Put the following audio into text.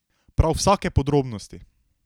Prav vsake podrobnosti!